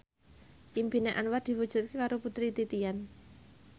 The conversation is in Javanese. impine Anwar diwujudke karo Putri Titian